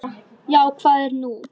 Já, hvað er nú?